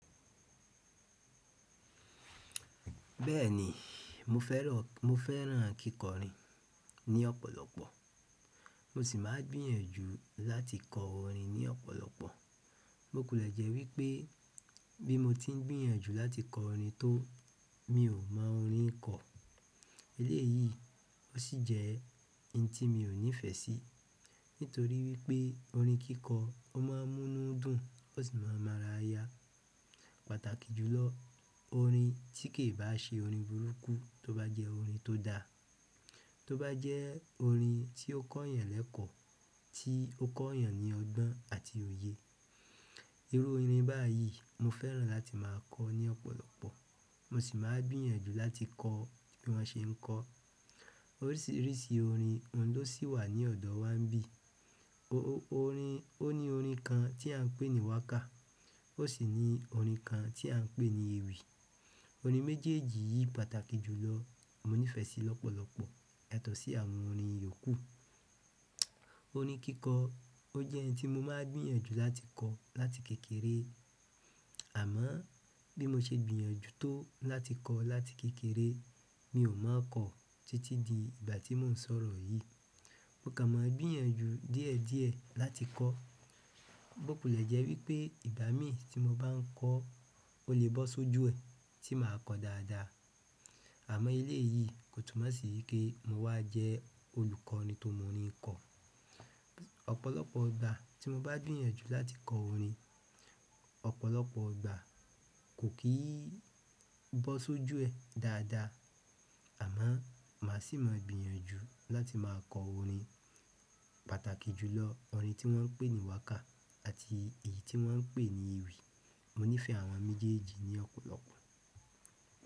Bẹ́ẹ̀ni, mo fẹ́ràn kíkọrin ní ọ̀pọ̀lọpọ̀. Mo sì máa gbìyànjú láti kọ orin ní ọ̀pọ̀lọpọ̀. Mo kò lẹ jẹ́ wípé bí mo tí ń gbìyànjú láti kọ òrin tó, mi ò mọ orin kọ. Eléyìí ó sì jẹ́ ohun tí mi ò nífẹ̀ẹ́ sí, nítorí wípé orin kíkọ́ ó má a múnú dùn, ó sì má ń mára yà. Pàtàkì jùlọ, òrin tí kì í bá ṣe orin burúkú, tó bá jẹ́ òrin tó da, tó bá jẹ́ òrin tí ó kọ́ yàn lẹ́kọ̀ọ́, tí ó kọ́ yàn ní ọgbọ́n àti òyè. Irú orin báyìí mò fẹ́ràn láti má a kọ ní ọ̀pọ̀lọpọ̀. Mo sì máa gbìyànjú láti kọ bí wọ́n ṣe ń kọ. Oríṣìíríṣìí òrin ló sì wà ní ọ̀dọ̀ wa níbí. Ó ní òrin kan tí à ń pè ní wákà. Ó sì ní orin kan tí à ń pè ní ewì. Òrin méjèèjì yìí pàtàkì jùlọ. Mo nífẹ̀ẹ́ sí i lọ́pọ̀lọpọ̀, ẹ̀tọ́ sí àwọn orin yòókù. Orin kíkọ, ó jẹ́ ohun tí mo máa ń gbìyànjú láti kọ láti kékeré. Àmọ́ bí mo ṣe gbìyànjú tó láti kọ láti kékeré, mi ò mọ́ kọ títí di ìgbà tí mò ń sọ̀rọ̀ yìí. Mò kàn màà ń gbìyànjù dìẹ dìẹ làtì kọ. Mo kò le jẹ́ wípé ìgbà mí tí mo bá ń kọ ó lè bọ́ sójú ẹ, tí mà á kọ dáadáa. Àmọ́ eléyìí kò túnmọ̀ sí yí kí mò wá jẹ́ olùkọ́ ni tó mọ òrin kọ. Ọ̀pọ̀lọpọ̀ ìgbà tí mo bá gbìyànjú láti kọ orin, ọ̀pọ̀lọpọ̀ ìgbà kò kì í bọ́ sójú ẹ dáadáa. Àmọ́ mà á sì máa gbìyànjú láti máa kọ orin. Pàtàkì jùlọ, òrin tí wọ́n ń pè ní wákà àti èyí tí wọ́n ń pè ní èwì. Mò nífẹ̀ẹ́ àwọn méjèèjì ní ọ̀pọ̀lọpọ̀.